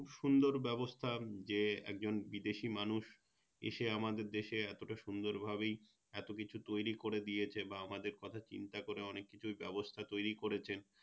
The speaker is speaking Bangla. সুন্দর ব্যবস্থা যে একজন বিদেশি মানুষ এসে আমাদের দেশে এতটা সুন্দর ভাবেই এতকিছু তৈরী করে দিয়েছে বা আমাদের কথা চিন্তা করে অনেককিছু ব্যবস্থা তৈরী করেছে